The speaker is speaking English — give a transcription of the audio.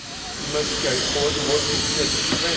We must carry forward the work we agreed at the